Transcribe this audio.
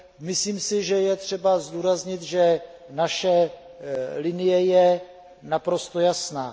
Myslím si, že je třeba zdůraznit, že naše linie je naprosto jasná.